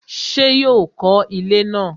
ṣé yóò kọ ilẹ́ náà?